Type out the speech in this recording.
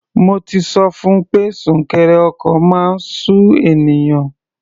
Mo ti sọ fun pé súnkẹrẹ ọkọ̀ máa ń sú ènìyàn.